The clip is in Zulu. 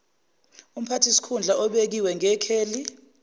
umphathisikhundla obekiwe ngekheli